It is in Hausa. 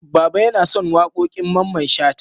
Baba yana son waƙoƙin Mamman Shata.